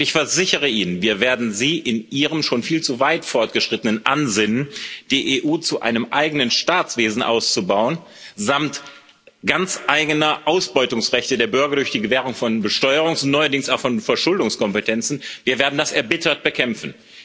Und ich versichere Ihnen, wir werden Ihr schon viel zu weit fortgeschrittenes Ansinnen, die EU zu einem eigenen Staatswesen auszubauen samt ganz eigener Ausbeutungsrechte der Bürger durch die Gewährung von Besteuerungs und neuerdings auch von Verschuldungskompetenzen, erbittert bekämpfen.